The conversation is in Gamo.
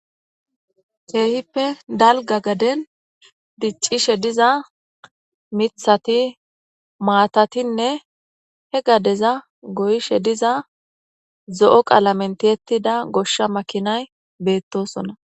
Keehippe dalga garden dicishe dizaithati, maatatinne he gadeza goyishrdiygdiza zo'o qalamen tiyetida goosha makinay beetosona